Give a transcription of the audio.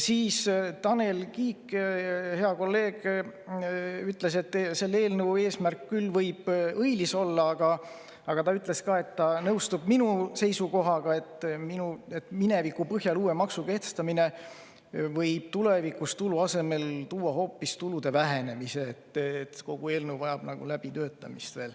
Tanel Kiik, hea kolleeg, ütles, et eelnõu eesmärk võib küll õilis olla, aga ta nõustub minu seisukohaga, et mineviku põhjal uue maksu kehtestamine võib tulevikus tulu asemel tuua kaasa hoopis tulu vähenemise, ja et kogu eelnõu vajab nagu läbitöötamist.